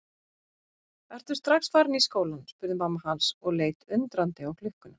Ertu strax farinn í skólann spurði mamma hans og leit undrandi á klukkuna.